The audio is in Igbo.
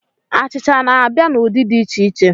Achịcha n'abịa n'ụdị dị iche iche.